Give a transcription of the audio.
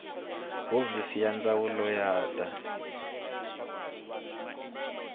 hofisi ya ndzawulo ya ta